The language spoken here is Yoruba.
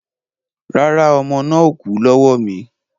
Rárá, ọmọ náà ò kú lọ́wọ́ mi